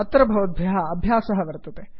अत्र भवद्भ्यः अभ्यासः वत्रते